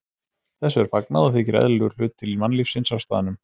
Þessu er fagnað og þykir eðlilegur hluti mannlífsins á staðnum.